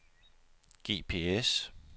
GPS